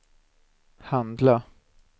handla